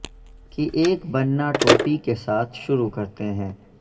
کی ایک بننا ٹوپی کے ساتھ شروع کرتے ہیں